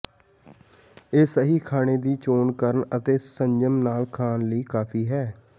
ਇਹ ਸਹੀ ਖਾਣੇ ਦੀ ਚੋਣ ਕਰਨ ਅਤੇ ਸੰਜਮ ਨਾਲ ਖਾਣ ਲਈ ਕਾਫੀ ਹੈ